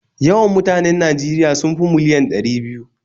Yawan mutanen Najeriya sun miliyan ɗari biyu